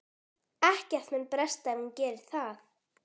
Ekkert mun bresta ef hún gerir það.